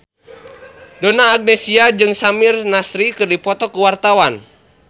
Donna Agnesia jeung Samir Nasri keur dipoto ku wartawan